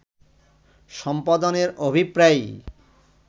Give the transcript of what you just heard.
সম্পাদনের অভিপ্রায়েই